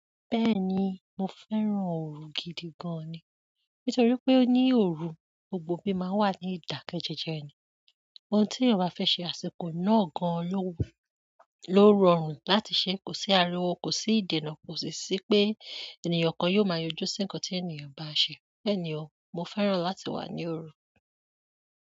Bẹ́ẹ̀ni mo fẹ́ràn òru gidi gan ni. Nítorí pé ní òru, gbogbo bí máa ń wà ní ìdákẹ́jẹẹjẹ ni. Ohun tí ènìyàn bá fẹ́ ṣe, àsìkò náà gan-an ló wu, ló rọrùn láti ṣe. Kò sí ariwo, kò sí ìdènà, kò sì sí pé ènìyàn kan yóò máa yọjú sí ǹkan tí ènìyàn bá ń ṣe. Bẹ́ẹ̀ni o, mo fẹ́ràn láti wà ní òru.